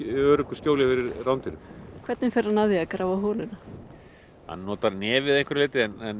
öruggu skjóli fyrir mávum rándýrum hvernig fer hann að því að grafa holuna hann notar nefið að einhverju leyti en